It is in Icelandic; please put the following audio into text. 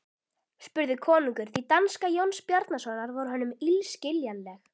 spurði konungur því danska Jóns Bjarnasonar var honum illskiljanleg.